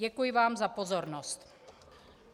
Děkuji vám za pozornost.